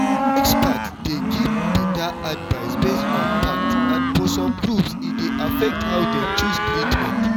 experts dey give better advice based on fact and for some groups e dey affect how dem choose treatment.